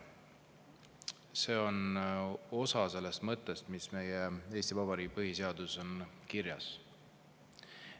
See on osa sellest mõttest, mis Eesti Vabariigi põhiseaduses on kirjas.